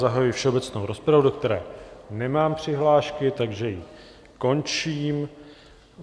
Zahajuji všeobecnou rozpravu, do které nemám přihlášky, takže ji končím.